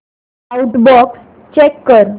outbox check कर